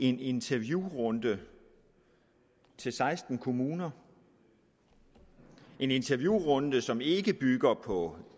en interviewrunde til seksten kommuner en interviewrunde som ikke bygger på